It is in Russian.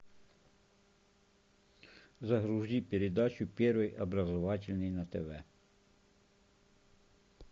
загрузи передачу первый образовательный на тв